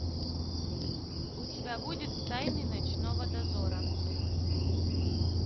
у тебя будет тайны ночного дозора